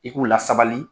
I k'u lasabali